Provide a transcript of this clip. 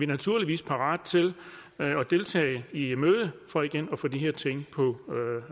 naturligvis parate til at deltage i mødet for igen at få de her ting på